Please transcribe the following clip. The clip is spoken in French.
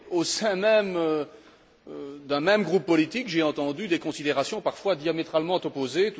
Au sein d'un même groupe politique, j'ai entendu des considérations parfois diamétralement opposées.